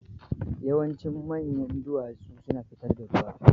Yawancin manyan duwatsu suna fitar da ruwa.